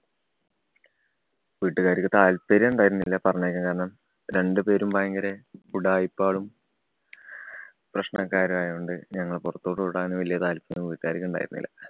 വീട്ടുകാർക്ക് താൽപര്യം ഉണ്ടായിരുന്നില്ല പറഞ്ഞയക്കാൻ. കാരണം രണ്ടുപേരും ഭയങ്കര ഉഡായിപ്പുകളും, പ്രശ്നക്കാരും ആയോണ്ട് ഞങ്ങളെ പുറത്തോട്ട് വിടാൻ വലിയ താല്പര്യമൊന്നും വീട്ടുകാർക്ക് ഉണ്ടായിരുന്നില്ല.